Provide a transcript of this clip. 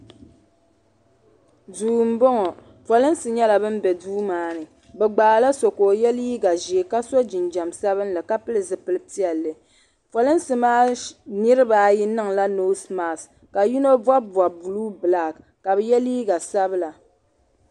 duu n bɔŋɔ pɔlinsi nyɛla bin bɛ duu maa ni bi gbaala so ka o yɛ liiga ʒiɛ ka so jinjɛm sabinli ka pili zipili piɛlli polinsi maa niraba ayi niŋla noos mask ka yino bob bob buluu bilak ka bi yɛ liiga sabila